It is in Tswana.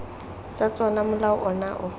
tsa tsona molao ono o